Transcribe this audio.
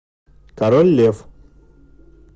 король лев